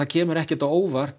kemur ekki á óvart